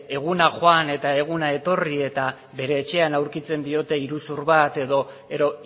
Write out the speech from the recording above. eguna joan eta eguna etorri eta bere etxean aurkitzen diote iruzur bat edo